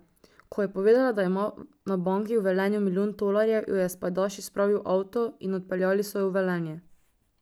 Ko je povedala, da ima na banki v Velenju milijon tolarjev, jo je s pajdaši spravil v avto in odpeljali so jo v Velenje.